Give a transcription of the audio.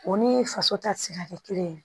O ni faso ta ti se ka kɛ kelen ye